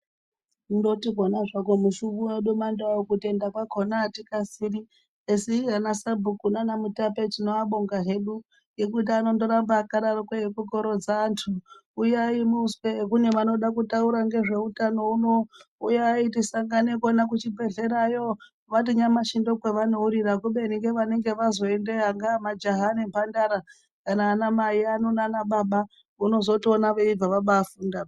Kuungoti zvako mushungu wedu wemaNdau kutenda kwakona atikasiri kasi ana sabhuku nanaMutape tino abonga hedu nekuti anotoramba akadero eyikokorodza wandu huyai muzwe kune vanoda kutaura ngezveutano unonu uyai tisangane kona kuchibhedhleya yoo kumbati nyamashi ndovanouyira kubeni vanenge vaziyondeyo ndoo majaha nemhandara kana ana mai nana Baba onozotoona veyibva vafunda.